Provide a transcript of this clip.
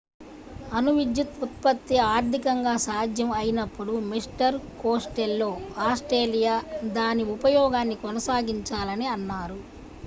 అణు విద్యుత్ ఉత్పత్తి ఆర్థికంగా సాధ్యం అయినప్పుడు మిస్టర్ కోస్టెల్లో ఆస్ట్రేలియా దాని ఉపయోగాన్ని కొనసాగించాలని అన్నారు